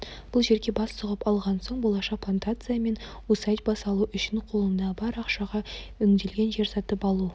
бұл жерге бас сұғып алған соң болашақ плантация мен усадьба салу үшін қолымдағы бар ақшаға өңделмеген жер сатып алу